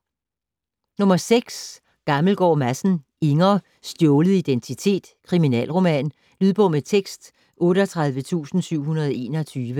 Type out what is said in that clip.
Gammelgaard Madsen, Inger: Stjålet identitet: kriminalroman Lydbog med tekst 38721